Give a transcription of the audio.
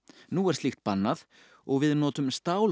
nú er slíkt bannað og við notum